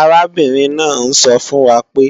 Arábìnrin náà ń sọ fún wa pé